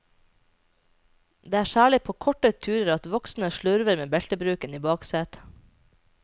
Det er særlig på korte turer at voksne slurver med beltebruken i baksetet.